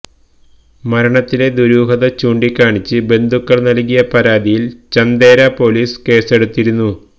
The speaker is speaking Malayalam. മരണത്തിലെ ദുരൂഹത ചൂണ്ടിക്കാണിച്ച് ബന്ധുക്കള് നല്കിയ പരാതിയില് ചന്തേര പോലീസ് കേസെടുത്തിരുന്നു